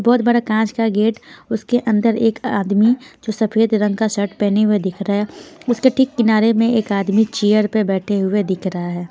बहुत बड़ा कांच का गेट उसके अंदर एक आदमी जो सफेद रंग का शर्ट पहने हुए दिख रहा है उसके ठीक किनारे में एक आदमी चेयर पर बैठे हुए दिख रहा है।